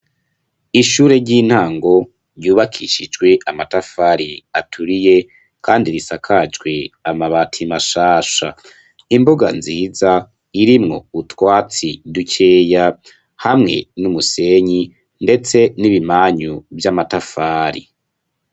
Ishure ry'intango, ryubakishijwe amatafari aturiye, kandi risakajwe amabati mashasha; imbuga nziza, irimwo utwatsi dukeya, hamwe n'umusenyi, ndetse n'ibimanyu vy'amatafari.